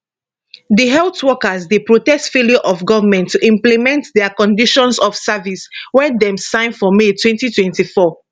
di health workers dey protest failure of goment to implement dia conditions of service wey dem sign for may 2024